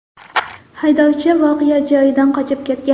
Haydovchi voqea joyidan qochib ketgan.